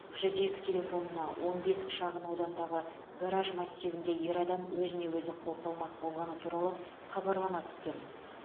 жүз екі телефонына он бес шағынауданындағы гараж массивінде ер адам өзіне өзі қол салмақ болғаны туралы хабарлама түскен